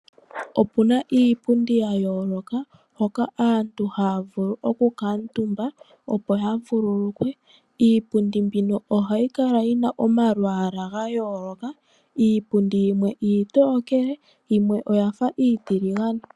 Opu na iipundi ya yooloka hoka aantu haya vulu okukuutumba opo ya vululukwe. Iipundi mbino ohayi kala yi na omalwaala ga yooloka iipundi yimwe iitokele yimwe oya fa iitiligane.